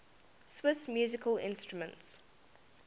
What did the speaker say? swiss musical instruments